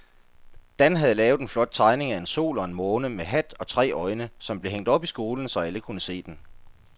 Dan havde lavet en flot tegning af en sol og en måne med hat og tre øjne, som blev hængt op i skolen, så alle kunne se den.